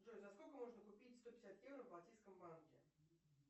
джой за сколько можно купить сто пятьдесят евро в балтийском банке